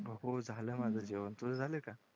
बघू झालं माझं जेवण झालं का